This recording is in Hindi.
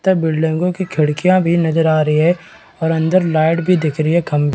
तथा बिल्डिंगो की खिड़किया भी नज़र आ रही है और अंदर लाइट भी दिख रही है खंभ--